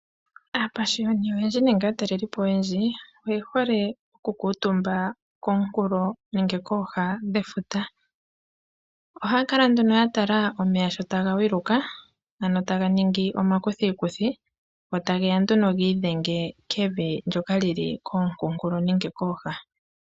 Aapashiyoni oyendji nenge aatalelipo oyendji oye hole oku kuutumba komunkulo nenge kooha dhefuta. Ohaya kala nduno ya tala omeya sho taga gwiluka ano taga ningi omakuthikuthi, go ta geya nduno giidhenge kevi ndyoka lili kookunkulo nenge kooha.